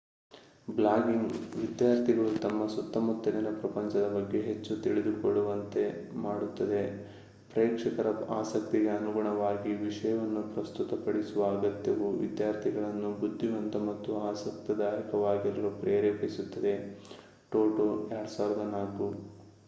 Blogging ವಿದ್ಯಾರ್ಥಿಗಳು ತಮ್ಮ ಸುತ್ತಲಿನ ಪ್ರಪಂಚದ ಬಗ್ಗೆ ಹೆಚ್ಚು ತಿಳಿದುಕೊಳ್ಳುವಂತೆ ಮಾಡುತ್ತದೆ. ಪ್ರೇಕ್ಷಕರ ಆಸಕ್ತಿಗೆ ಅನುಗುಣವಾಗಿ ವಿಷಯವನ್ನು ಪ್ರಸ್ತುತಪಡಿಸುವ ಅಗತ್ಯವು ವಿದ್ಯಾರ್ಥಿಗಳನ್ನು ಬುದ್ಧಿವಂತ ಮತ್ತು ಆಸಕ್ತಿದಾಯಕವಾಗಿರಲು ಪ್ರೇರೇಪಿಸುತ್ತದೆ ಟೊಟೊ 2004